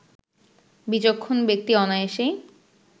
বিচক্ষণ ব্যক্তি অনায়াসেই